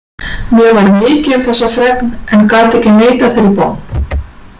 Mér varð mikið um þessa fregn en gat ekki neitað þeirri bón.